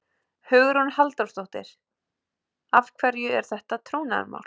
Hugrún Halldórsdóttir: Af hverju er þetta trúnaðarmál?